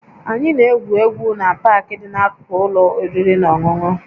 Anyị na-egwu egwu na Park dị n'akụkụ ụlọ oriri na ọṅụṅụ